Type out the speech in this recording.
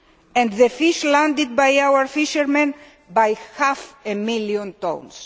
tonnes and the fish landed by our fishermen by half a million tonnes.